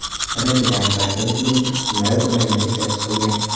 Raketaning barcha butlovchi qismlari Ukrainada ishlab chiqilgan.